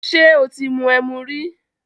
Ṣé o ti mu ẹmu rí?